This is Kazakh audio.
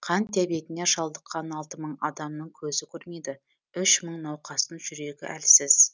қант диабетіне шалдыққан алты мың адамның көзі көрмейді үш мың науқастың жүрегі әлсіз